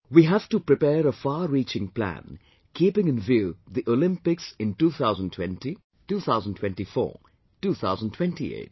We have to prepare a far reaching plan keeping in view the Olympics in 2020, 2024, 2028